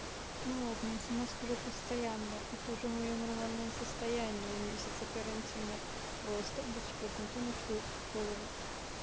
ну ладно я с ума схожу постоянно это уже моё нормальное состояние месяца карантина просто быть ебнутой на всю голову